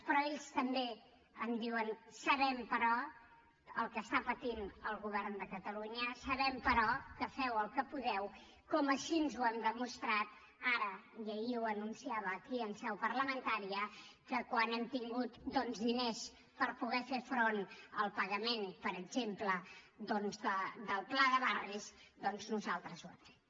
però ells també em diuen sabem però el que està patint el govern de catalunya sabem però que feu el que podeu com així ho hem demostrat ara i ahir ho anunciava aquí en seu parlamentària que quan hem tingut doncs diners per poder fer front al pagament per exemple del pla de barris nosaltres ho hem fet